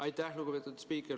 Aitäh, lugupeetud spiiker!